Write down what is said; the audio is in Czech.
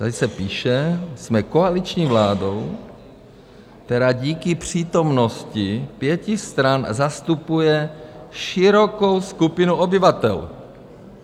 Tady se píše: Jsme koaliční vládou, která díky přítomnosti pěti stran zastupuje širokou skupinu obyvatel.